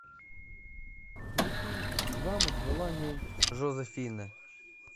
включи замок желаний жозефины